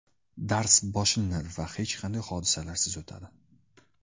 Dars boshlanadi va hech qanday hodisalarsiz o‘tadi.